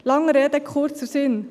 Der langen Rede kurzer Sinn: